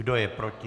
Kdo je proti?